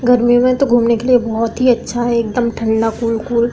गर्मी में तो घूमने के लिए बोहोत ही अच्छा है। एकदम ठंडा कूल कूल --